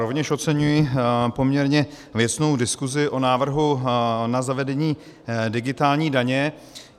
Rovněž oceňuji poměrně věcnou diskuzi o návrhu na zavedení digitální daně.